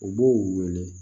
U b'o wele